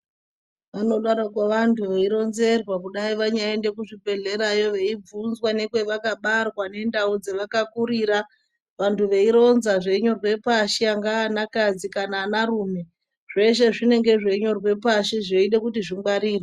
Vanodaro vantu veironzerwa kudai vanya enda kuzvibhedhlerayo veibvunzwa nekwavakabarwa nendau dzavaka kurira vantu veironza zveinyorwa pashi angava ana kadzi kana ana rume zveshe zvinenge zvichinyorwa pashi zveida kuti zvingwarirwe.